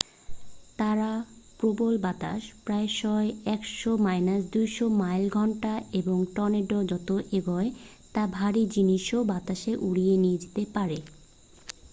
তারা প্রবল বাতাস প্রায়শই 100-200 মাইল / ঘণ্টা এবং টর্নেডো যত এগোয় তা ভারী জিনিসও বাতাসে উড়িয়ে নিয়ে যেতে পারে।